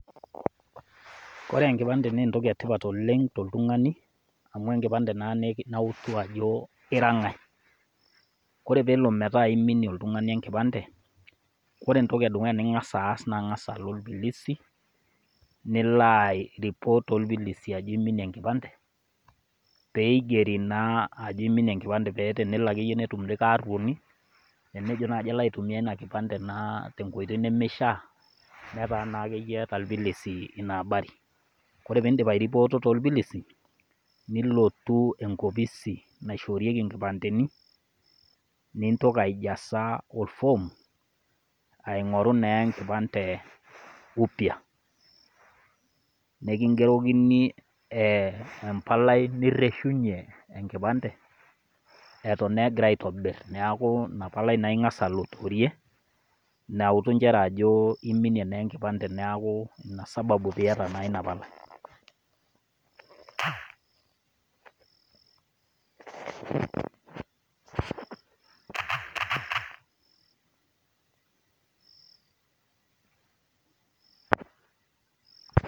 Kore enkipande naa entoki e tipat oleng toltung'ani, amu enkipande naa nautu ajo ira ng'ai. Ore peelo metaa iminie oltung'ani enkipande, ore entoki edukuya ning'as aas naa ilo ilpilisi nilo aireport tolpilisi ajo iminie enkipande, pee eigeri naa ajo iminie enkipande pee tenelo naaji netum likai aruoni, nemelo aitumia ina kipande tenkoitoi nemeishaa netaa naa akeyie eata ilpilisi ina habari Ore pee indip airipoto tolpilisi, nilotu enkopisi naishoorieki inkipandeni, nintoki aijaza olfom, aing'oru naa enkipande upya nenkingerokini empalai nireshunye enkipande eton naa egirai aitobir, neaku ina palai ing'as alotorie, nautu injere ajo iminie enkipande neaku ina sababu peata naa ina palai.